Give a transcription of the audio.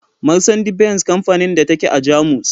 Marsandi-Benz kamfanin da ta ke a Jamus.